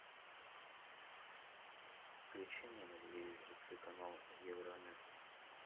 включи мне на телевизоре телеканал евронес